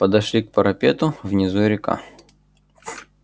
подошли к парапету внизу река